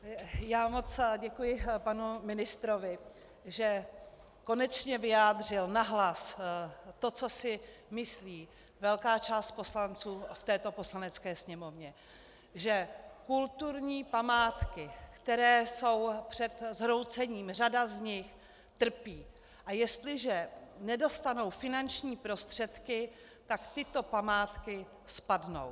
Já moc děkuji panu ministrovi, že konečně vyjádřil nahlas to, co si myslí velká část poslanců v této Poslanecké sněmovně, že kulturní památky, které jsou před zhroucením, řada z nich, trpí, a jestliže nedostanou finanční prostředky, tak tyto památky spadnou.